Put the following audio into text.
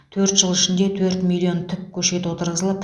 төрт жыл ішінде төрт миллион түп көшет отырғызылып